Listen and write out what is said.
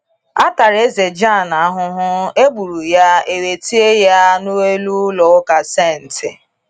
Atara Eze Jan ahụhụ, e gburu ya, e wee tie ya n’elu ụlọ ụka St.